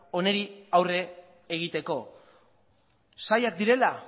honi aurre egiteko zailak direla